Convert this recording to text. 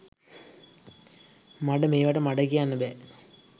මඩ මේවට මඩ කියන්න බෑ